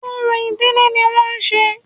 Orò ìdílé ní wọ́n ń ṣe